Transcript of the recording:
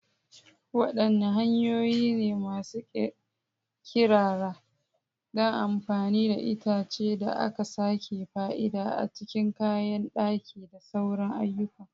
Wadanne hanyoyi ne masu kirkira don amfani da itacen da aka sake fa'ida a cikin kayan daki da sauran ayyukan?